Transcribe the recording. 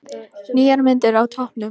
Nýjar myndir á toppnum